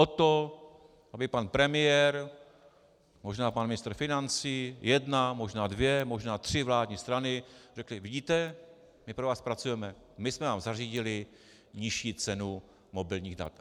O to, aby pan premiér, možná pan ministr financí, jedna, možná dvě, možná tři vládní strany řekli: Vidíte, my pro vás pracujeme, my jsme vám zařídili nižší cenu mobilních dat.